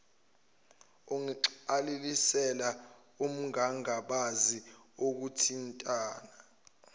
ungazigcwalisela ungangabazi ukuthintana